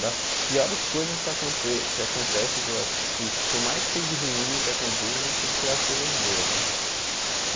das piores coisas que aconte que acontecem, que por mais que seja ruim o que acontece, a gente tem que tirar as coisas boas, né?